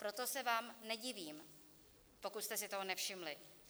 Proto se vám nedivím, pokud jste si toho nevšimli.